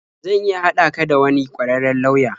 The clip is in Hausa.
Zan iya haɗa ka da wani ƙwararren lauya.